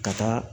Ka taa